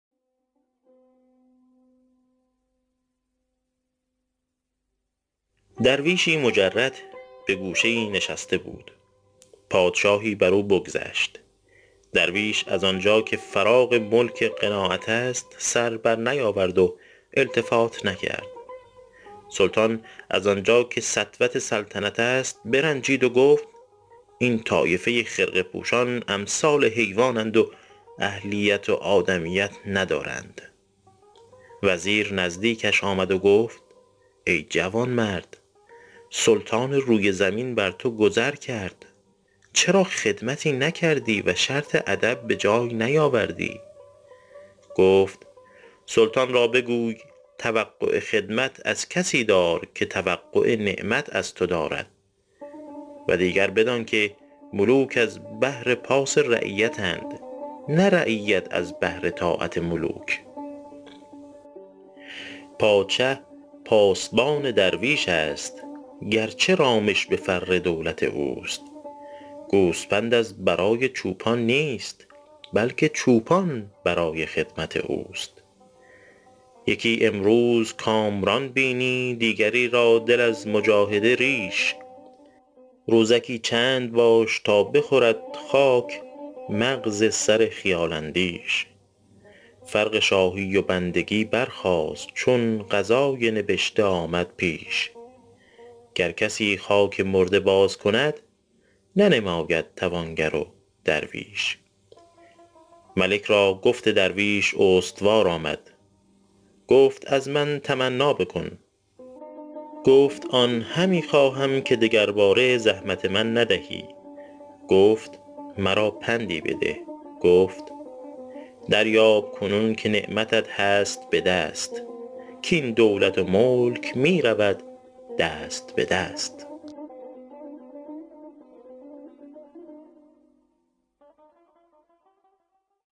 درویشی مجرد به گوشه ای نشسته بود پادشاهی بر او بگذشت درویش از آنجا که فراغ ملک قناعت است سر بر نیاورد و التفات نکرد سلطان از آنجا که سطوت سلطنت است برنجید و گفت این طایفه خرقه پوشان امثال حیوان اند و اهلیت و آدمیت ندارند وزیر نزدیکش آمد و گفت ای جوانمرد سلطان روی زمین بر تو گذر کرد چرا خدمتی نکردی و شرط ادب به جای نیاوردی گفت سلطان را بگوی توقع خدمت از کسی دار که توقع نعمت از تو دارد و دیگر بدان که ملوک از بهر پاس رعیت اند نه رعیت از بهر طاعت ملوک پادشه پاسبان درویش است گرچه رامش به فر دولت اوست گوسپند از برای چوپان نیست بلکه چوپان برای خدمت اوست یکی امروز کامران بینی دیگری را دل از مجاهده ریش روزکی چند باش تا بخورد خاک مغز سر خیال اندیش فرق شاهی و بندگی برخاست چون قضای نبشته آمد پیش گر کسی خاک مرده باز کند ننماید توانگر و درویش ملک را گفت درویش استوار آمد گفت از من تمنا بکن گفت آن همی خواهم که دگرباره زحمت من ندهی گفت مرا پندی بده گفت دریاب کنون که نعمتت هست به دست کاین دولت و ملک می رود دست به دست